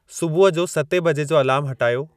सुबुह जो सते बजे जो अलार्मु हटायो